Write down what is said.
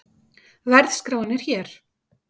Verðskráin er hér